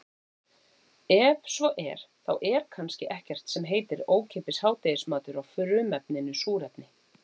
Ef svo er þá er kannski ekkert sem heitir ókeypis hádegismatur á frumefninu súrefni.